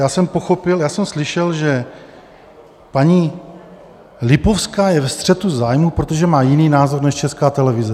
Já jsem pochopil, já jsem slyšel, že paní Lipovská je ve střetu zájmů, protože má jiný názor než Česká televize.